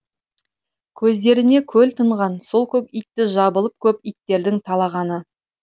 көздеріне көл тұнған сол көк итті жабылып көп иттердің талағаны